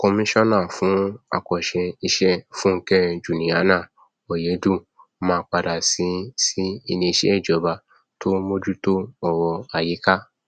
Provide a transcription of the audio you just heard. kọmíṣánà fún àkànṣe iṣẹ fúnkẹ juliana ọyẹdùn máa padà sí sí iléeṣẹ ìjọba tó ń mójútó ọrọ ayíká